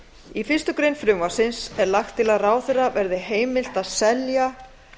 í fyrstu grein frumvarpsins er lagt til að ráðherra verði heimilt að selja